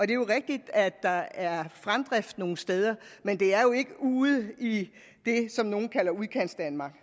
det er rigtigt at der er fremdrift nogle steder men det er jo ikke ude i det som nogle kalder udkantsdanmark